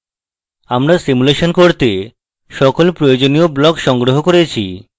আমরা সিমুলেশন করতে সকল প্রয়োজনীয় blocks সংগ্রহ করেছি